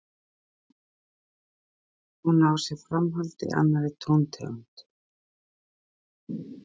Hún á sér framhald í annarri tóntegund.